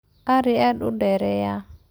Ari aad u dheereeya.